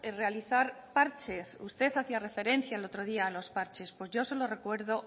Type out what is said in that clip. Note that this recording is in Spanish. realizar parches usted hacía referencia el otro día a los parches pues yo se lo recuerdo